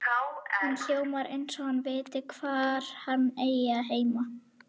Hann hljómar eins og hann viti hvar hann eigi heima.